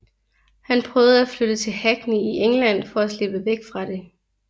Han prøvede at flytte til Hackney i England for at slippe væk fra det